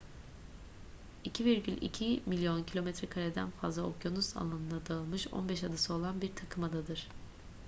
2,2 milyon kilometrekareden fazla okyanus alanına dağılmış 15 adası olan bir takımadadır